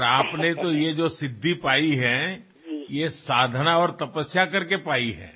আপুনি যি সিদ্ধি লাভ কৰিছে সেয়া সাধনা আৰু তপস্যাৰ ফলত লাভ কৰিছে